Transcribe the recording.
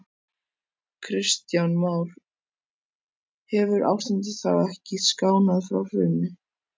Kristján Már: Hefur ástandið þá ekkert skánað frá hruni?